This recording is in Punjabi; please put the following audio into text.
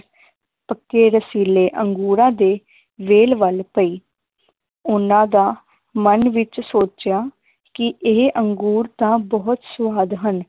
ਪੱਕੇ ਰਸੀਲੇ ਅੰਗੂਰਾਂ ਦੇ ਵੇਲ ਵੱਲ ਪਈ ਉਹਨਾਂ ਦਾ ਮੰਨ ਵਿਚ ਸੋਚਿਆ ਕਿ ਇਹ ਅੰਗੂਰ ਤਾਂ ਬਹੁਤ ਸਵਾਦ ਹਨ